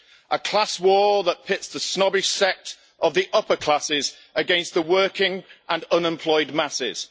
a class war that pits the snobbish sect of the upper classes against the working and unemployed masses.